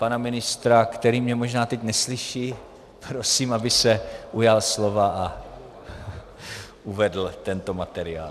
Pana ministra, který mě možná teď neslyší, prosím, aby se ujal slova a uvedl tento materiál.